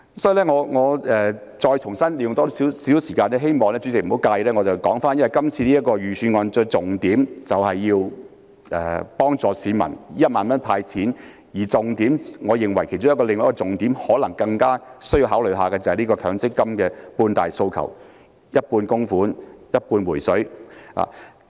所以，我想再花多一些時間，希望主席不要介意，我想說回今次預算案的重點，除了有幫助市民的"派錢 "1 萬元外，我認為另一個更加應該考慮的重點，可能就是強積金的"半大訴求"，即是一半供款、一半"回水"。